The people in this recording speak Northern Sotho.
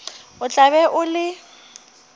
o tla be o le